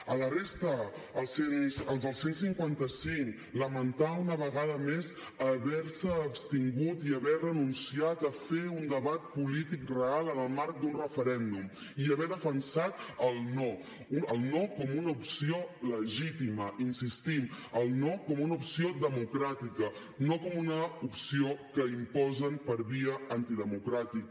a la resta als del cent i cinquanta cinc lamentar una vegada més haver se abstingut i haver renunciat a fer un debat polític real en el marc d’un referèndum i haver defensat el no el no com una opció legítima el no com una opció democràtica no com una opció que imposen per via antidemocràtica